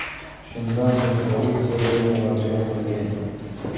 Shundan so‘ng u politsiyaga murojaat qilgan.